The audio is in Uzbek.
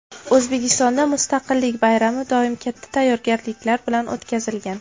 O‘zbekistonda Mustaqillik bayrami doim katta tayyorgarliklar bilan o‘tkazilgan.